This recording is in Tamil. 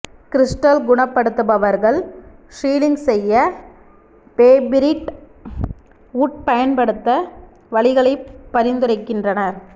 கிரிஸ்டல் குணப்படுத்துபவர்கள் ஹீலிங் செய்ய பேபிரிட் வூட் பயன்படுத்த வழிகளை பரிந்துரைக்கின்றனர்